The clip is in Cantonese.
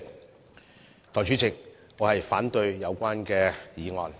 代理主席，我反對有關議案。